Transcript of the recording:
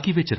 ਠੀਕ ਨਹੀਂ